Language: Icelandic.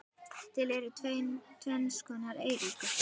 Til eru tvenns konar eyríki